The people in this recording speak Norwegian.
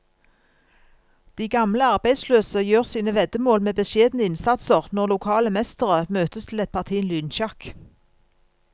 De gamle arbeidsløse gjør sine veddemål med beskjedne innsatser når lokale mestere møtes til et parti lynsjakk.